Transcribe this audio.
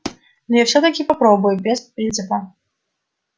но я всё-таки попробую без принципа